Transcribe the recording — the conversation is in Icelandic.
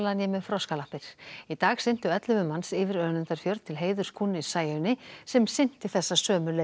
né með froskalappir í dag syntu ellefu manns yfir Önundarfjörð til heiðurs kúnni Sæunni sem synti þessa sömu leið